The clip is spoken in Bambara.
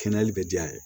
Kɛnɛyali bɛ diya ye